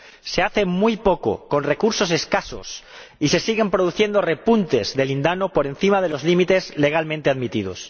Se hace muy poco, con recursos escasos, y se siguen produciendo repuntes de lindano por encima de los límites legalmente admitidos.